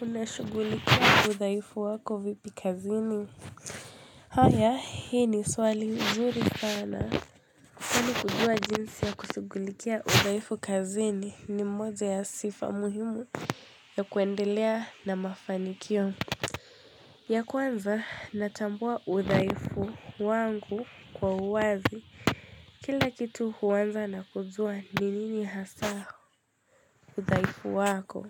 Unashughulikia udhaifu wako vipi kazini? Haya, hii ni swali nzuri sana. Kwani kujua jinsi ya kushughulikia udhaifu kazini ni mmoja ya sifa muhimu. Ya kuendelea na mafanikio. Ya kwanza natambua udhaifu wangu kwa uwazi. Kila kitu huanza na kujua ni nini hasa udhaifu wako.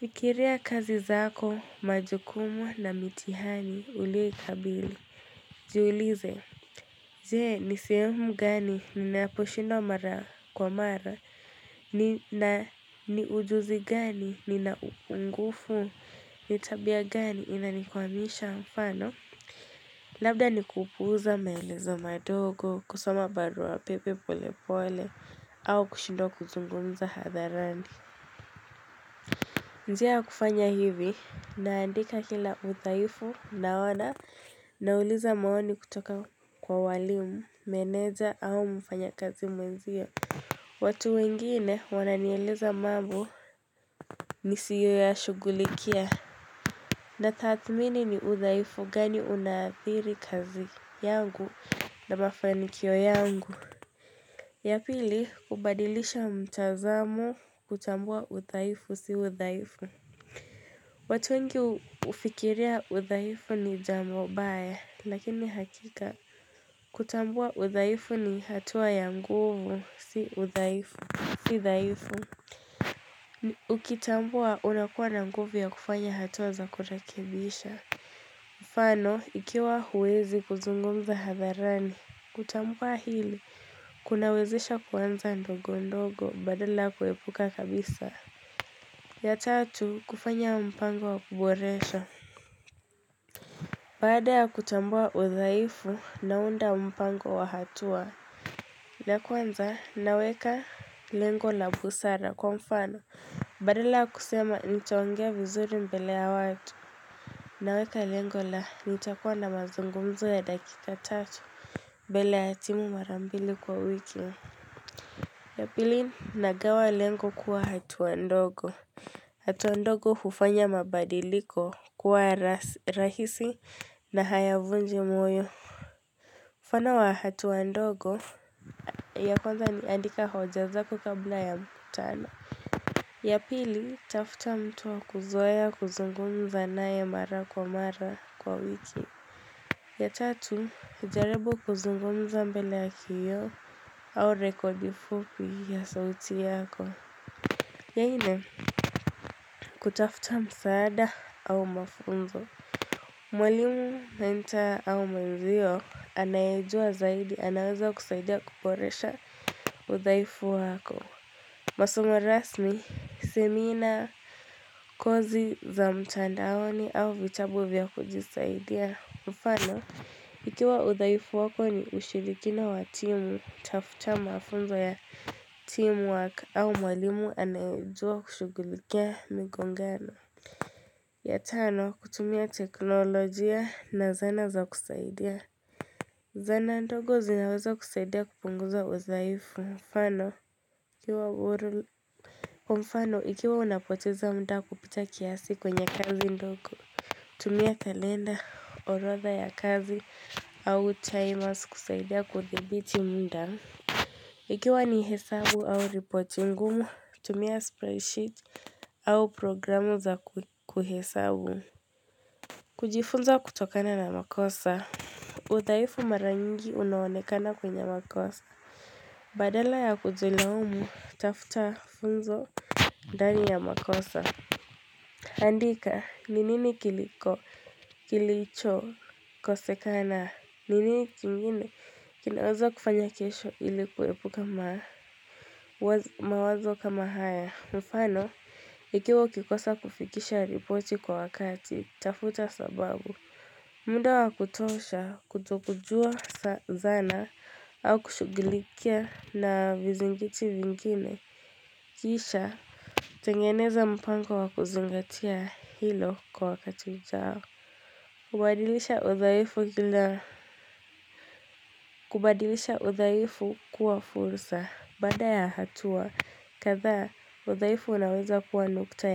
Fikiria kazi zako, majukumu na mitihani uliyoikabili. Jiulize, je nisehemu gani ninaposhindwa mara kwa mara, ni ujuzi gani nina upungufu, nitabia gani inalikwamisha mfano. Labda nikupuuza maelezo madogo, kusoma barua pepe pole pole, au kushindwa kuzungumza hadharani. Njia ya kufanya hivi, naandika kila udhaifu, naona, nauliza maoni kutoka kwa walimu, meneja au mfanya kazi mwenzio. Watu wengine wananieleza mambo nisiyo ya shughulikia. Na thatmini ni udhaifu gani unaathiri kazi yangu na mafanikio yangu. Yapili, kubadilisha mtazamo kutambua udhaifu si udhaifu. Watu wengi hufikiria udhaifu ni jambo mbaya lakini hakika kutambua udhaifu ni hatua ya nguvu si udhaifu Si dhaifu Ukitambua unakuwa na nguvu ya kufanya hatua za kurekebisha Mfano ikiwa huwezi kuzungumza hadharani kutambua hili kunawezesha kuanza ndogo ndogo badala ya kuhepuka kabisa ya tatu kufanya mpango wa kuboresha Baada ya kutambua udhaifu naunda mpango wa hatua ya kwanza naweka lengo la busara kwa mfano Badala ya kusema nitaongea vizuri mbele ya watu naweka lengo la nitakuwa na mazungumzo ya dakika tatu mbele ya timu marambili kwa wiki ya pili nagawa lengo kuwa hatua ndogo hatua ndogo hufanya mabadiliko kuwa rahisi na hayavunji moyo mfano wa hatua ndogo ya kwanza ni andika hoja zako kabla ya mkutano ya pili, tafuta mtu wa kuzoea kuzungumza naye mara kwa mara kwa wiki ya tatu, jaribu kuzungumza mbele ya kioo au rekodi fupi ya sauti yako ya nne, kutafuta msaada au mafunzo Mwalimu nainta au mwenzio anayejua zaidi anaweza kusaidia kuboresha udhaifu wako. Masomo rasmi, semina kozi za mtandaoni au vitabu vya kujisaidia. Mfano, ikiwa udhaifu wako ni ushirikina wa timu, tafuta mafunzo ya teamwork au mwalimu anayejua kushughulikia migongano. Yatano kutumia teknolojia na zana za kusaidia Zana ndogo zinaweza kusaidia kupunguza udhaifu mfano Mfano ikiwa unapoteza mda kupita kiasi kwenye kazi ndogo tumia kalenda orodha ya kazi au timers kusaidia kudhibiti mda Ikiwa ni hesabu au ripoti ngumu tumia spreadsheet au programu za kuhesabu kujifunza kutokana na makosa udhaifu mara nyingi unaonekana kwenye makosa Badala ya kujilaumu, tafuta funzo ndani ya makosa Andika, ni nini kiliko kilicho kosekana Ninini kingine kinaweza kufanya kesho ili kuhepuka mawazo kama haya Mfano, ikiwa ukikosa kufikisha ripoti kwa wakati, tafuta sababu muda wa kutosha kutokujua za zana au kushughulikia na vizingiti vingine Kisha tengeneza mpango wa kuzingatia hilo kwa wakati ujao kubadilisha udhaifu kila kubadilisha udhaifu kuwa fursa baada ya hatua kadhaa udhaifu unaweza kuwa nukta ya.